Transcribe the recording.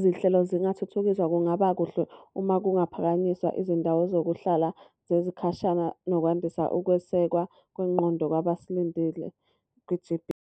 zinhlelo zingathuthukiswa kungaba kuhle uma kungaphakanyiswa izindawo zokuhlala zezikhashana nokwandisa ukwesekwa kwengqondo kwabasindile kwi-G_B.